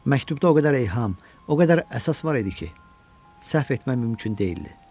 Məktubda o qədər eyham, o qədər əsas var idi ki, səhv etmək mümkün deyildi.